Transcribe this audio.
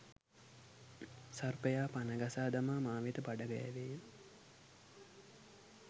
සර්පයා පණ ගසා දමා මා වෙත බඩගෑවේය.